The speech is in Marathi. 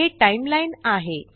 हे टाइमलाईन आहे